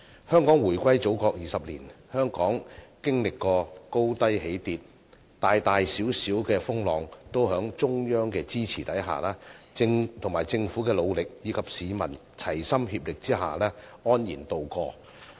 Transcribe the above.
香港回歸祖國20年，經歷過高低起跌，大大小小的風浪都在中央的支持、政府的努力，以及市民的齊心協力下安然渡過。